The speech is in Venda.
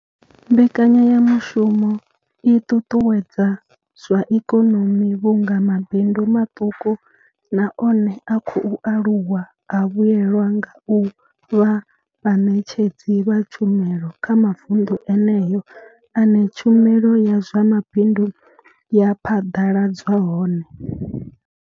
Mbekanyamushumo i ṱuṱuwedza zwa ikonomi vhunga mabindu maṱuku na one a khou aluwa a vhuelwa nga u vha vhaṋetshedzi vha tshumelo kha mavundu eneyo ane tshumelo ya zwa mabindu ya phaḓaladzwa hone.